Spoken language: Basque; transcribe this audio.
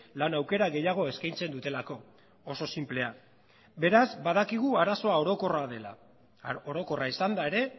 lan aukera gehiago eskaintzen dutelako oso sinplea beraz badakigu arazo orokorra dela orokorra izanda ere